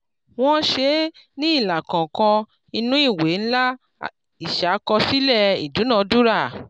wọ́n ṣe é ní ilà kọ̀ọ̀kan nínú ìwé ńlá ìṣàkọsílẹ̀ ìdúnadúrà.